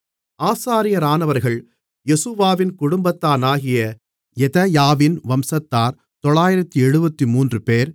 ஆசாரியரானவர்கள் யெசுவாவின் குடும்பத்தானாகிய யெதாயாவின் வம்சத்தார் 973 பேர்